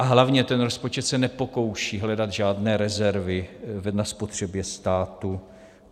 A hlavně ten rozpočet se nepokouší hledat žádné rezervy na spotřebě státu.